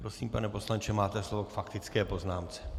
Prosím, pane poslanče, máte slovo k faktické poznámce.